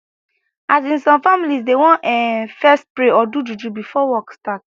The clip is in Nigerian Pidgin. asin some families dey want ehh fess pray or do juju before work start